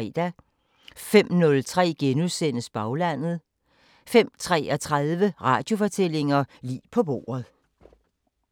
05:03: Baglandet * 05:33: Radiofortællinger: Lig på bordet